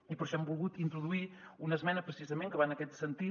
i per això hem volgut introduir una esmena precisament que va en aquest sentit